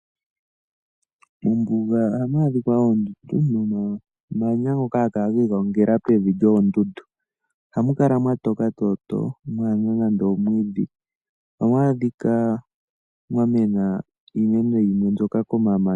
Mombuga ohamu adhika oondundu nomamanya ngoka haga kala gi igongela pevi lyoondundu. Ohamu kala mwa toka tooto mwaa hena nande omwiidhi. Ohamu adhika mwa mwena iimeno yimwe mbyoka komamanya